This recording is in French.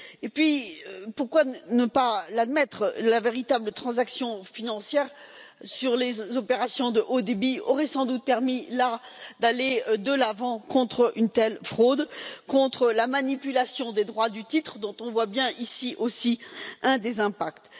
Et puis, pourquoi ne pas l'admettre, la véritable transaction financière sur les opérations de haute fréquence aurait sans doute permis d'aller de l'avant contre une telle fraude, contre la manipulation des droits du titre dont on voit bien, ici aussi, un des impacts.